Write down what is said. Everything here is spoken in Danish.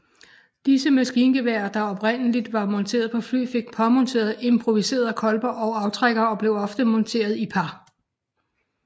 Disse maskingeværer der oprindelig var monteret på fly fik påmonteret improviserede kolber og aftrækkere og blev ofte monteret i par